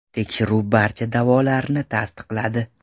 Tekshiruv barcha da’volarni tasdiqladi.